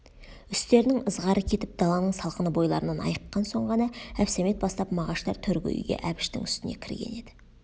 үстерінің ызғары кетіп даланың салқыны бойларынан айыққан соң ғана әбсәмет бастап мағаштар төргі үйге әбіштің үстіне кірген еді